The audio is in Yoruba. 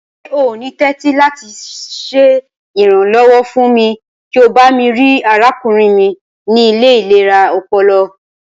Ṣe o ni tẹ̀tì lati ṣe iranlọwọ fún mi kí o bami rii arákúnrin mi ni ile ilera ọpọlọ?